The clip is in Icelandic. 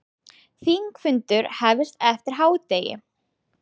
Þingfundur hefst eftir hádegið